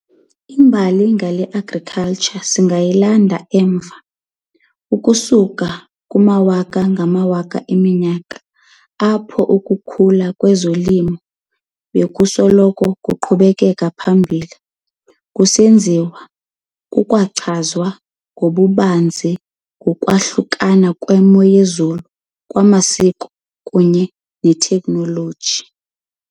Imbali ngale Agriculture singayilanda emva ukusuka kumawaka-ngamawaka eminyaka, apho ukukhula kolimo bekusoloko kuqhubeka phambili kusenziwa kukwachazwa ngokubanzi kukwahlukana kwemo yezulu, kwamasiko, kunye ne-technology.